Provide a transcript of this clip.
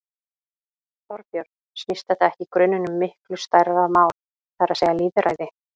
Þorbjörn: Snýst þetta ekki í grunninn um miklu stærra mál, það er að segja lýðræði?